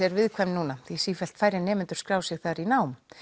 er viðkvæm núna því sífellt færri nemendur skrá sig þar í nám